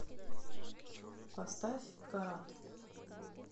поставь карат